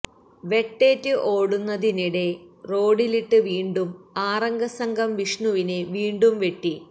വെട്ടേറ്റ് ഓടുന്നതിനിടെ റോഡ്ഡിലിട്ട് വീണ്ടും ആറഗം സംഘം വിഷ്ണുവിനെ വീണ്ടും വെട്ടി